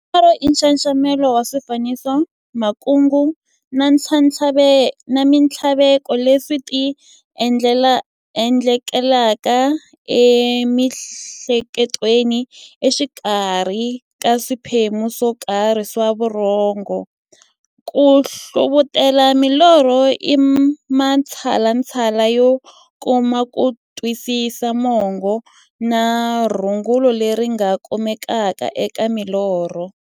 Norho i nxaxamelo wa swifaniso, makungu na minthlaveko leswi ti endlekelaka e mi'hleketweni exikarhi ka swiphemu swokarhi swa vurhongo. Ku hlavutela milorho i matshalatshala yo kuma kutwisisa mungo na rungula leri nga kumekaka eka milorho.